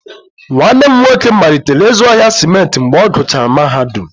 Nwanne m nwoke malitere ịzụ ahịa simenti mgbe ọ gụchara mahadum,